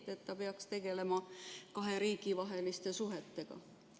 Kas mitte tema ei peaks tegelema kahe riigi vaheliste suhetega?